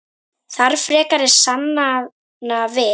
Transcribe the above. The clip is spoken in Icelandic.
Þarf frekari sannana við?